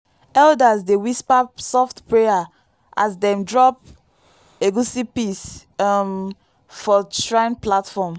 elders dey whisper soft prayer as dem drop egusi piece um for shrine platform.